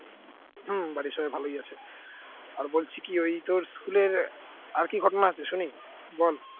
হম বাড়ির সবাই ভালই আছে, আর বলছি কি ওই তোর school এর আর কি ঘটনা আছে শুনি বল